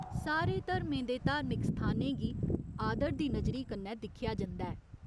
सारे धर्में दे धार्मिक स्थानें गी आदर दी नजरी कन्नै दिक्खेआ जंदा ऐ।